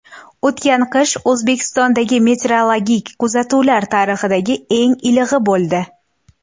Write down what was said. O‘tgan qish O‘zbekistondagi meteorologik kuzatuvlar tarixidagi eng ilig‘i bo‘ldi.